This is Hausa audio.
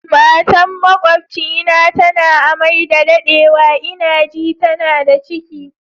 Matan makwabcina tana a'mai da daddewa, n'na ji tana da ciki.